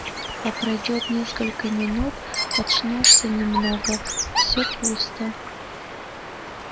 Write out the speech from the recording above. а пройдёт несколько минут очнёшься немного все пусто